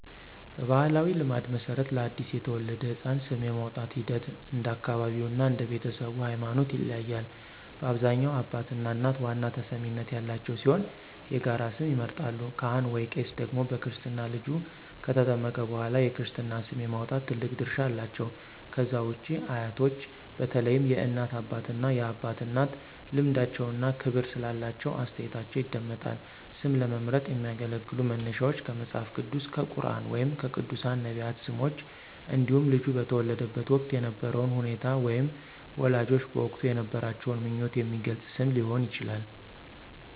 በባሕላዊ ልማድ መሠረት፣ ለአዲስ የተወለደ ሕፃን ስም የማውጣቱ ሂደት እንደ አካባቢው እና እንደ ቤተሰቡ ሃይማኖት ይለያያል። በአብዛኛው አባትና እናት ዋና ተሰሚነት ያላቸው ሲሆን የጋራ ስም ይመርጣሉ። ካህን/ቄስ ደግሞ በክርስትና ልጁ ከተጠመቀ በኋላ የክርስትና ስም የማውጣት ትልቅ ድርሻ አላቸው። ከዛ ውጪ አያቶች በተለይም የእናት አባትና የአባት እናት ልምዳቸውና ክብር ስላላቸው አስተያየታቸው ይደመጣል። ስም ለመምረጥ የሚያገለግሉ መነሻዎች ከመጽሐፍ ቅዱስ፣ ከቁርኣን ወይም ከቅዱሳን/ነቢያት ስሞች እንዲሁም ልጁ በተወለደበት ወቅት የነበረውን ሁኔታ ወይም ወላጆች በወቅቱ የነበራቸውን ምኞት የሚገልጽ ስም ሊሆን ይችላል።